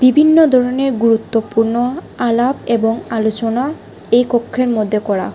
বিভিন্ন ধরনের গুরুত্বপূর্ণ আলাপ এবং আলোচনা এই কক্ষের মধ্যে করা--